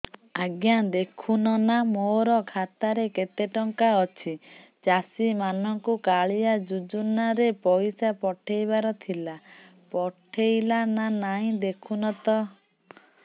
ଆଜ୍ଞା ଦେଖୁନ ନା ମୋର ଖାତାରେ କେତେ ଟଙ୍କା ଅଛି ଚାଷୀ ମାନଙ୍କୁ କାଳିଆ ଯୁଜୁନା ରେ ପଇସା ପଠେଇବାର ଥିଲା ପଠେଇଲା ନା ନାଇଁ ଦେଖୁନ ତ